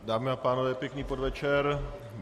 Dámy a pánové, pěkný podvečer.